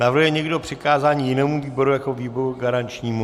Navrhuje někdo přikázání jinému výboru jako výboru garančnímu?